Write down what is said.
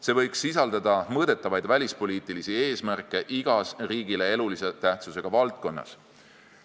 See võiks sisaldada mõõdetavaid välispoliitilisi eesmärke igas riigile elulise tähtsusega valdkonnas.